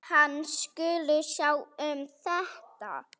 Hann skuli sjá um þetta.